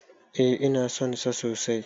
E, ina son sa sosai.